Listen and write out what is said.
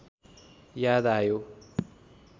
याद आयो